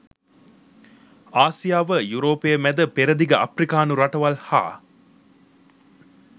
ආසියාව යුරෝපය මැද පෙරදිග අප්‍රිකානු රටවල් හා